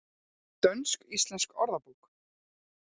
Dönsk-íslensk orðabók.